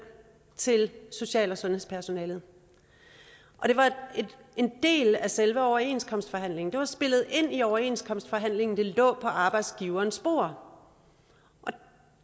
til social og sundhedspersonalet og det var en del af selve overenskomstforhandlingerne spillet ind i overenskomstforhandlingerne det lå på arbejdsgiverens bord